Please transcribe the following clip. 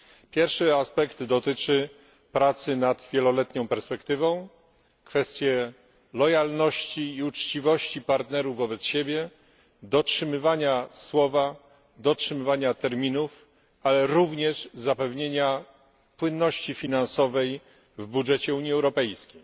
Pierwszy aspekt dotyczy pracy nad wieloletnią perspektywą, kwestii lojalności i uczciwości partnerów wobec siebie, dotrzymywania słowa, dotrzymywania terminów, ale również zapewnienia płynności finansowej w budżecie Unii Europejskiej.